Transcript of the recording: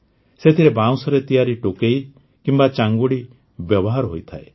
ସେଥିରେ ବାଉଁଶରେ ତିଆରି ଟୋକେଇ କିମ୍ବା ଚାଙ୍ଗୁଡ଼ି ବ୍ୟବହାର ହୋଇଥାଏ